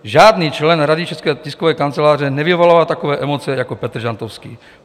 Žádný člen Rady České tiskové kanceláře nevyvolává takové emoce jako Petr Žantovský.